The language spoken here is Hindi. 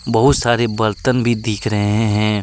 बहुत सारे बर्तन भी दिख रहे हैं।